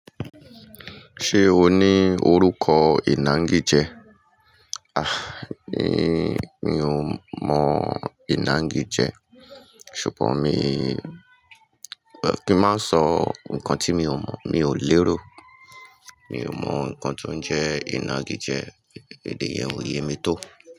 Ṣé o ní orúkọ ìnagijẹ? A! Mí, mi ò mọ ìnagijẹ. Ṣùgbọ́n mi, kí má sọ ǹkan tí mi ò mọ̀, mi ò lérò. Mi ò mọ ǹkan tó ń jẹ́ ìnagijẹ, èdè yẹn ò yé mi tó.